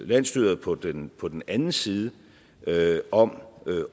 landsstyret på den på den anden side om